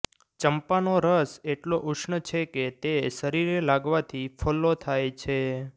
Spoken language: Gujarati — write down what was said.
ચંપાનો રસ એટલો ઉષ્ણ છે કે તે શરીરે લાગવાથી ફોલ્લો થાય છે